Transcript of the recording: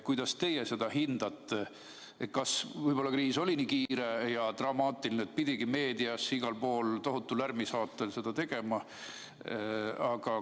Kuidas teie seda hindate, kas kriis oli nii kiire ja dramaatiline, et seda pidigi igal pool meedias tohutu lärmi saatel tegema?